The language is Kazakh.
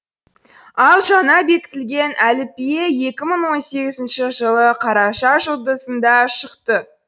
ал жаңа бекітілген әліпбие екі мың он сегізінші жылы қараша жұлдызында шықты